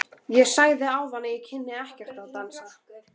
Ég sagði þér áðan að ég kynni ekkert að dansa.